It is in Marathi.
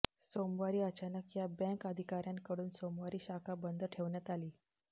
सोमवारी अचानक या बँक अधिकाऱ्यांकडून सोमवारी शाखा बंद ठेवण्यात आली